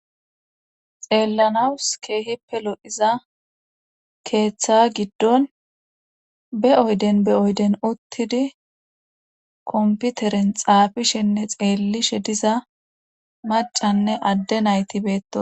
Xeellanawus keehippe lodiza keeththa giddon be oyden be oyden uttidi komputeren xaafishenne xeellishe diza macanne adde nayti beettos.